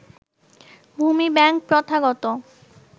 ভূমি ব্যাংক প্রথাগত